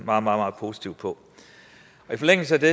meget meget positivt på i forlængelse af det